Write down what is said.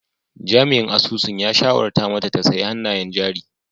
Jami'in asusun ya shawarta mata ta sayi hannayen jari!